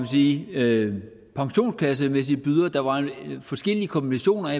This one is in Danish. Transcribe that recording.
sige pensionskassemæssige bydere der var forskellige kombinationer